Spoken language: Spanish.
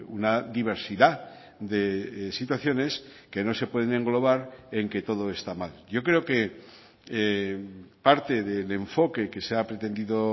una diversidad de situaciones que no se pueden englobar en que todo está mal yo creo que parte del enfoque que se ha pretendido